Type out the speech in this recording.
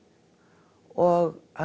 og